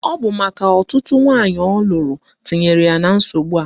Ọ bụ maka ọtụtụ nwaanyị ọ lụrụ tinyere ya na nsogbu a.